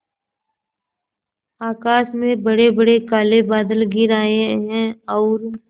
आकाश में बड़ेबड़े काले बादल घिर आए हैं और